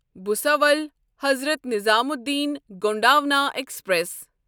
Bhusawal Hazrat Nizamuddin Gondwana express